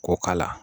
K'o k'a la